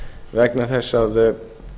vegna þess að